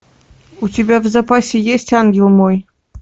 у тебя в запасе есть ангел мой